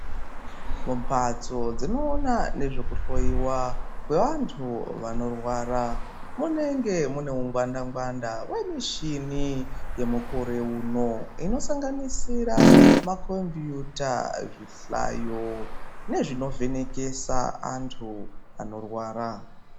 Mumbatso dzinoona nezvekuhloyiwa kwevantu vanorwara munenge munewo ngwanda ngwanda wemuchini yemukore uno, inosanganisira makombiyuta , zvihlayo nezvinovhenekesa antu anorwara .